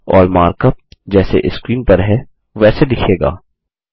और मार्कअप जैसे स्क्रीन पर है वैसे दिखेगा